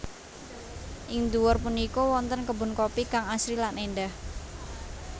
Ing dhuwur punika wonten kebun kopi kang asri lan èndah